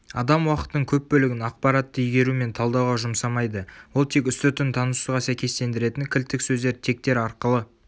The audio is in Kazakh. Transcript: адам уақытының көп бөлігін ақпаратты игеру мен талдауға жұмсамайды ол тек үстіртін танысуға сәйкестендіретін кілттік сөздер тегтер арқылы